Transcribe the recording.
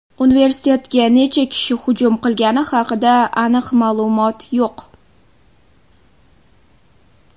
Universitetga necha kishi hujum qilgani haqida aniq ma’lumot yo‘q.